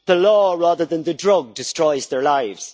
The law, rather than the drug, destroys their lives.